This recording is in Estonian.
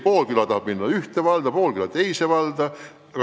Pool küla tahab kuuluda ühte valda, pool küla teise valda.